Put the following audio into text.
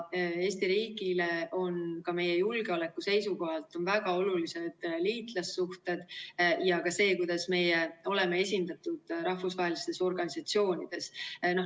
Eesti riigile on meie julgeoleku seisukohalt väga olulised liitlassuhted ja ka see, kuidas me oleme esindatud rahvusvahelistes organisatsioonides.